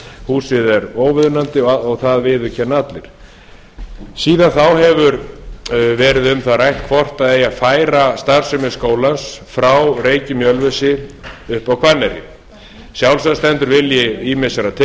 húsið er óviðunandi og það viðurkenna allir síðan þá hefur verið um það rætt hvort eigi að færa starfsemi skólans frá reykjum í ölfusi upp á hvanneyri sjálfsagt stendur vilji ýmissa til